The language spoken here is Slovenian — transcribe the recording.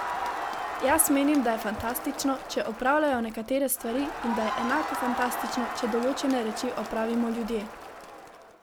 Jaz menim, da je fantastično, če opravljajo nekatere stvari in da je enako fantastično, če določene reči opravimo ljudje.